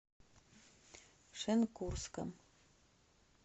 шенкурском